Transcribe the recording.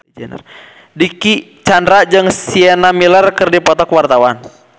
Dicky Chandra jeung Sienna Miller keur dipoto ku wartawan